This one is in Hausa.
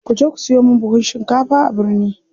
Kuje ku siyo min buhun shinkafa a birni.